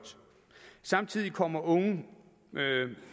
samtidig kommer unge